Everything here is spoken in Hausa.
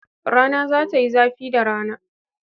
Rana za ta yi zafi da rana.